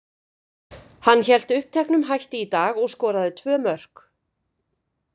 Hann hélt uppteknum hætti í dag og skoraði tvö mörk.